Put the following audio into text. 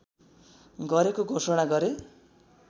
गरेको घोषणा गरे